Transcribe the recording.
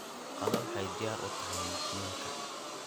Qado waxay diyaar u tahay macmiilka.